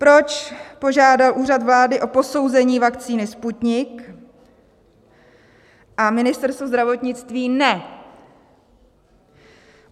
Proč požádal Úřad vlády o posouzení vakcíny Sputnik, a Ministerstvo zdravotnictví ne?